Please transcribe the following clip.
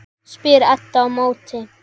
spyr Edda á móti.